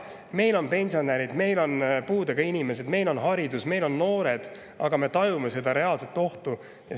Meil on pensionärid, meil on puudega inimesed, meil on haridus, meil on noored, aga me tajume seda reaalset ohtu.